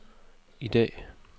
i dag